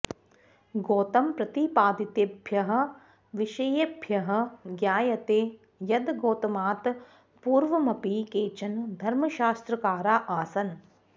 गौतमप्रतिपादितेभ्यः विषयेभ्यः ज्ञायते यद् गौतमात् पूर्वमपि केचन धर्मशास्त्रकारा आसन्